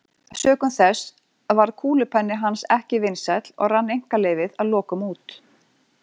Sökum þess varð kúlupenni hans ekki vinsæll og rann einkaleyfið að lokum út.